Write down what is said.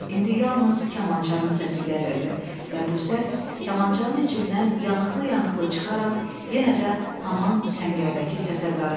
İndi yalnız kamançanın səsi gəlirdi və bu səs kamançanın içindən yanıqlı-yanıqlı çıxaraq yenə də haman səngərdəki səsə qarışdı.